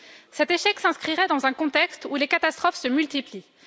Cet échec s'inscrirait dans un contexte où les catastrophes se multiplient.